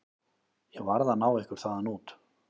Ég varð að ná ykkur þaðan út.